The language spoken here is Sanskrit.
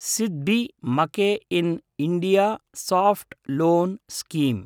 SIDBI make in India soft loan scheme